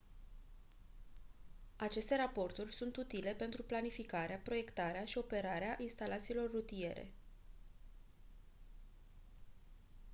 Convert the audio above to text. aceste raporturi sunt utile pentru planificarea proiectarea și operarea instalațiilor rutiere